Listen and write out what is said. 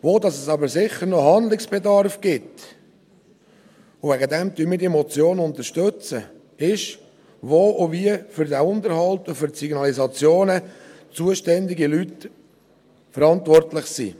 Handlungsbedarf gibt es aber sicher noch bei der Frage, welche Leute wo und wie für den Unterhalt und die Signalisationen zuständig und verantwortlich sind.